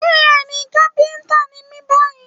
Bẹ́ẹ̀ni, kápẹ́ńtà ni mí báyìí.